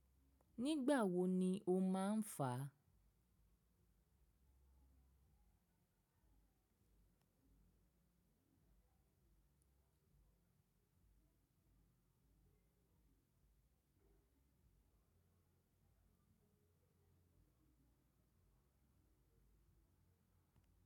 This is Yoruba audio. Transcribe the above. Nígbà wo ni o máa ń fà?